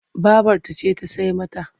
Babarta ce ta sai mata.